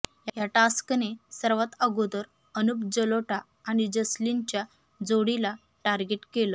या टास्कने सर्वात अगोदर अनूप जलोटा आणि जसलीनच्या जोडीला टार्गेट केलं